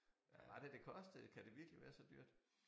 Hvad var det det kostede kan det virkelig være så dyrt?